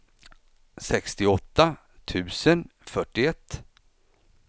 sextioåtta tusen fyrtioett